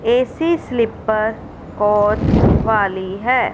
AC sleeper coach वाली है।